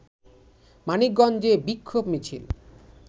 মানিকগঞ্জে বিক্ষোভ মিছিল